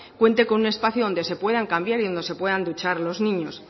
cuente con un espacio donde se puedan cambiar y donde se puedan duchar los niños